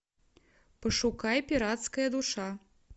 пошукай пиратская душа